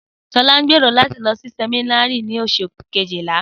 Sọlá ń gbèrò láti lọ sí sẹ̀mínárì ni Oṣù kejìlá